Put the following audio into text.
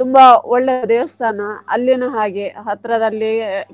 ತುಂಬಾ ಒಳ್ಳೆಯ ದೇವಸ್ಥಾನ ಅಲ್ಲಿನೂ ಹಾಗೆ ಹತ್ರದಲ್ಲಿ.